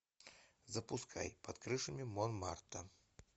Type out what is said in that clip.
запускай под крышами монмартра